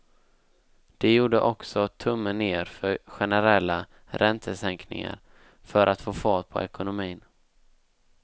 De gjorde också tummen ner för generella räntesänkningar för att få fart på ekonomin.